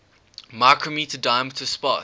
micrometre diameter spots